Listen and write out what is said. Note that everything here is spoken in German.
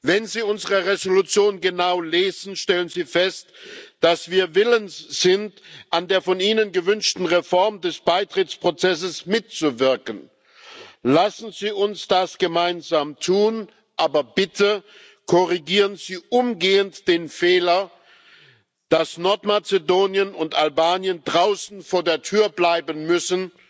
Wenn Sie unsere Entschließung genau lesen, stellen Sie fest, dass wir willens sind, an der von Ihnen gewünschten Reform des Beitrittsprozesses mitzuwirken. Lassen Sie uns das gemeinsam tun, aber bitte korrigieren Sie umgehend den Fehler, dass Nordmazedonien und Albanien draußen vor der Tür bleiben müssen,